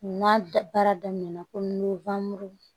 N'a baara daminɛna komi